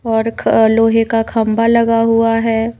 और ख लोहे का खंबा लगा हुआ है।